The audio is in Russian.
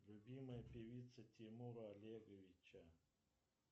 любимая певица тимура олеговича